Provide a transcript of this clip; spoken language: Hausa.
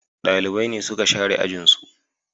Dalibai ne suka share ajin su